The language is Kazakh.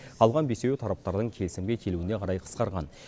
қалған бесеуі тараптардың келісімге келуіне қарай қысқарған